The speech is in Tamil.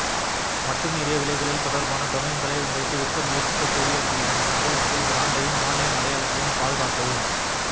மட்டுமீறிய விலைகளில் தொடர்பான டொமைன்களை உங்களுக்கு விற்க முயற்சிக்கக் கூடியவர்களிடமிருந்து உங்கள் பிராண்டையும் ஆன்லைன் அடையாளத்தையும் பாதுகாக்கவும்